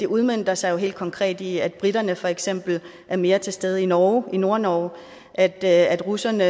udmønter sig helt konkret i at briterne for eksempel er mere til stede i nordnorge i nordnorge og at at russerne